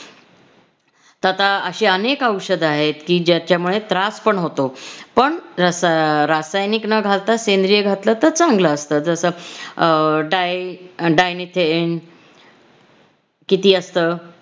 तर आता अशी अनेक औषध आहेत की ज्याच्यामुळे त्रास पण होतो पण रस~रासायनिक न घालता सेंद्रिय घातलं तर चांगलं असत जस अं डाय~ dinyfen किती असत